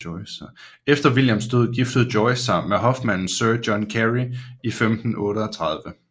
Efter Williams død giftede Joyce sig med hofmanden sir John Carey i 1538